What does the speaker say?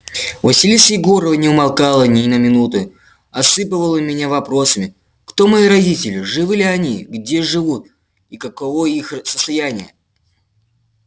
василиса егоровна не умолкала ни на минуту осыпала меня вопросами кто мои родители живы ли они где живут и каково их состояние